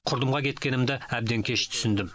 құрдымға кеткенімді әбден кеш түсіндім